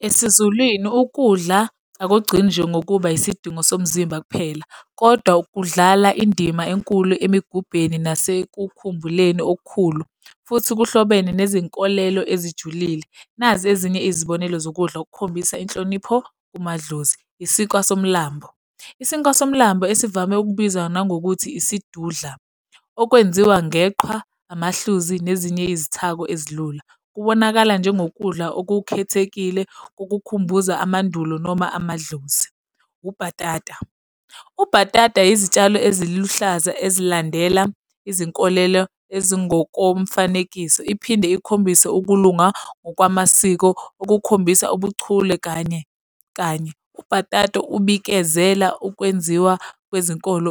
EsiZulwini ukudla akugcini nje ngokuba isidingo somzimba kuphela. kodwa kudlala indima enkulu emikhubeni nasekukhululeni okukhulu, futhi kuhlobene nezinkolelo ezijulile. Nazi ezinye izibonelo zokudla ukukhombisa inhlonipho kumadlozi. Isinkwa somlambo. Isinkwa somlambo esivame ukubizwa nangokuthi isidudla, okwenziwa ngeqhwa, amahluzi nezinye izithako ezilula. Kubonakala njengokudla okukhethekile, ukukukhumbuza amandulo noma amadlozi. Ubhatata, ubhatata izitshalo eziluhlaza ezilandela izinkolelo ezingokomfanekiso iphinde ikhombise ukulunga ngokwamasiko okukhombisa ubuchule kanye, kanye. Ubhatata ukubikezela okwenziwa kwezenkolo